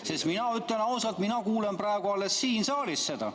Sest mina ütlen ausalt, et mina kuulen praegu alles siin saalis seda.